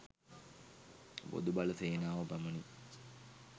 බොදු බල සේනාව පමණි.